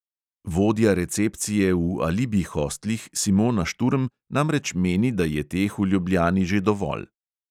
Vodja recepcije v alibi hostlih simona šturm namreč meni, da je teh v ljubljani že dovolj.